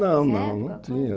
Não, não não tinha.